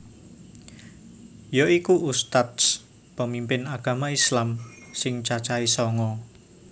Yaiku ustadz pemimpin agama islam sing cacahe sanga